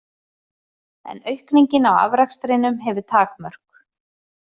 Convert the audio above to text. En aukningin á afrakstrinum hefur takmörk.